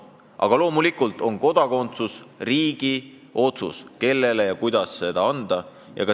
Aga loomulikult on kodakondsus riigi otsus, riik otsustab, kellele ja kuidas seda anda.